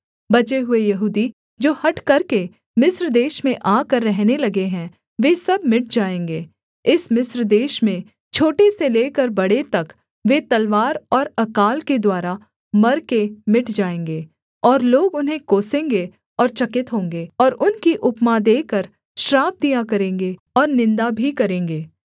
बचे हुए यहूदी जो हठ करके मिस्र देश में आकर रहने लगे हैं वे सब मिट जाएँगे इस मिस्र देश में छोटे से लेकर बड़े तक वे तलवार और अकाल के द्वारा मर के मिट जाएँगे और लोग उन्हें कोसेंगे और चकित होंगे और उनकी उपमा देकर श्राप दिया करेंगे और निन्दा भी करेंगे